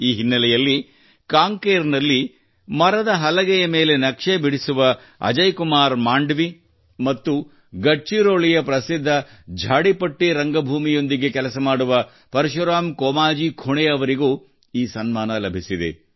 ಈ ಹಿನ್ನಲೆಯಲ್ಲಿ ಕಾಂಕೇರ್ ನಲ್ಲಿ ಕಟ್ಟಿಗೆಯ ಮೇಲೆ ನಕ್ಷೆ ಬಿಡಿಸುವಅಜಯ್ ಕುಮಾರ್ ಮಾಂಡವಿ ಮತ್ತು ಗಡ್ಚಿರೋಲಿಯ ಪ್ರಸಿದ್ಧ ಝಾಡಿಪಟ್ಟಿ ರಂಭೂಮಿಯೊಂದಿಗೆ ಕೆಲಸ ಮಾಡುವ ಪರಶುರಾಮ್ ಕೋಮಾಜಿ ಖುಣೇ ಅವರಿಗೂ ಈ ಸನ್ಮಾನ ಲಭಿಸಿದೆ